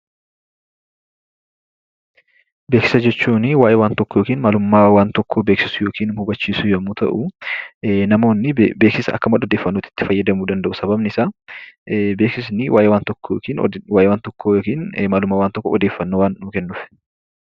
Beeksisa jechuun waayee waan tokkoo yookiin maalummaa waan tokkoo beeksisuu yookiin immoo hubachiisuu jechuu yommuu ta'u, namoonni beeksisa akka madda odeeffannootti itti fayyadamuu danda'u. Sababni isaa, beeksisni waayee waan tokkoo yookiin maalummaa waan tokkoo odeeffannoo waan nuu kennuuf.